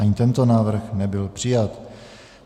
Ani tento návrh nebyl přijat.